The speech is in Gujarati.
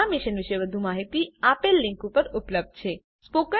આ મિશન વિશે વધુ જાણકારી આ લિંક ઉપર ઉપલબ્ધ છે